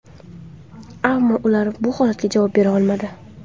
Ammo ular bu holatga javob bera olmadi.